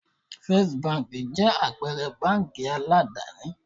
Báńkì Fọ́sítì jẹ́ àpẹrẹ báńkì aládàni.